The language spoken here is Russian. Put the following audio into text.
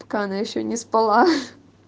пока она ещё не спала